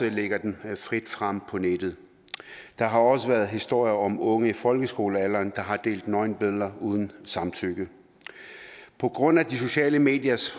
og lægger dem frit frem på nettet der har også været historier om unge i folkeskolealderen der har delt nøgenbilleder uden samtykke på grund af de sociale mediers